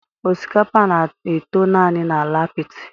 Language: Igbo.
Osikapa na-eto naanị na ala apiti